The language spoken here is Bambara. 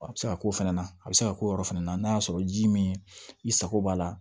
A bɛ se ka k'o fɛnɛ na a bɛ se ka k'o yɔrɔ fana na n'a y'a sɔrɔ ji min i sago b'a la